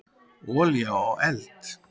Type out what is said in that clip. Olía á eld.